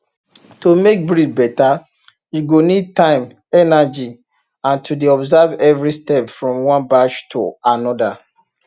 to make breed better you go need time energy and to dey observe every step from one batch to another